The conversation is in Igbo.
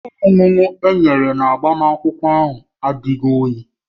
Ihe ọṅụṅụ ndị e nyere na agbamakwụkwọ ahụ adịghị oyi